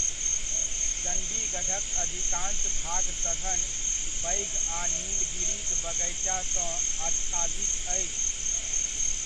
चण्डीगढ़क अधिकांश भाग सघन, पैघ आ नीलगिरीक बगैचासँ आच्छादित अछि।